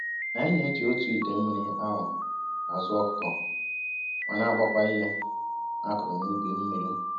Anyị na-eji otu ite mmiri ahụ azụ ọkụkọ ma na-agbakwa ihe a kụrụ n'ubi mmiri.